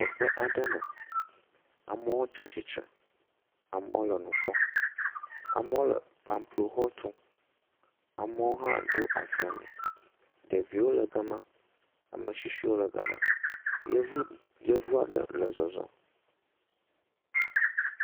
Kɔƒe aɖeme, amɔ tsa atitre amɔ le nu kpɔm, amɔ le pamplo xɔtum, amɔ hã ɖo asi ali, ɖevio le gama, ametsitsiwo le gama, yevu yevuaɖe le zɔzɔm.